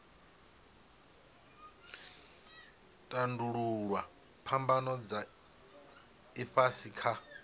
tandululwa phambano dza ifhasi kha